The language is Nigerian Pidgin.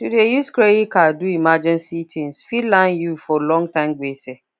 to dey use credit card do emergency tins fit land you for longterm gbese